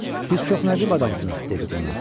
Siz çox nəcib adamsınız, dedi qonaq.